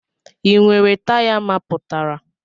Ị nwere taya mapụtara?